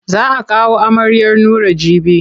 Za a kawo amaryar Nura jibi.